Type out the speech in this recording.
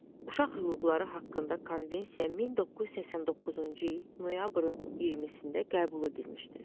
Uşaq hüquqları haqqında konvensiya 1989-cu il noyabrın 20-də qəbul edilmişdir.